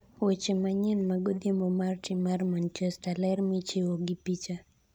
(weche manyien ma godhiambo mar tim mar Manchester) ler michiwo gi picha